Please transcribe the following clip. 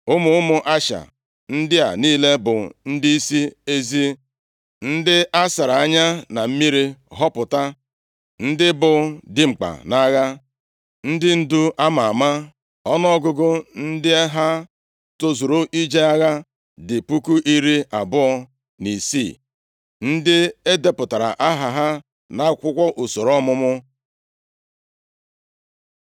Ụmụ ụmụ Asha ndị a niile bụ ndịisi ezi, ndị a sara anya na mmiri họpụta, ndị bụ dimkpa nʼagha, ndị ndu a ma ama. Ọnụọgụgụ ndị ha tozuru ije agha dị puku iri abụọ na isii (26,000), ndị e depụtara aha ha nʼakwụkwọ usoro ọmụmụ.